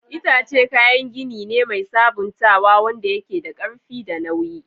Itace kayan gini ne mai sabuntawa wanda yake da ƙarfi da nauyi.